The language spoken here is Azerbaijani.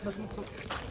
Sən heç vaxt deyil.